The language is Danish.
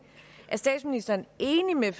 er statsministeren enig med